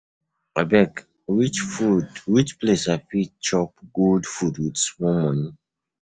Abeg, which food, which place I fit chop good food with small money?